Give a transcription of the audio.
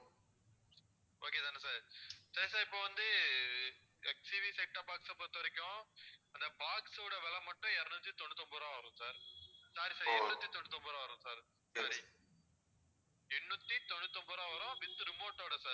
okay தானே sir sir sir இப்போ வந்து HCV setup box அ பொறுத்தவரைக்கும் அந்த box ஓட விலை மட்டும் இருநூத்தி தொண்ணூத்தி ஒன்பது ரூபா வரும் sir sorry sir எண்ணூத்தி தொண்ணூத்தி ஒன்பது ரூபா வரும் sir எண்ணூத்தி தொண்ணூத்தி ஒன்பது ரூபா வரும் with remote ஓட sir